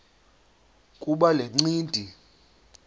kuba le ncindi